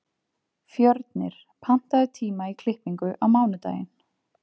Fjörnir, pantaðu tíma í klippingu á mánudaginn.